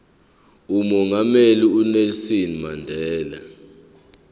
umongameli unelson mandela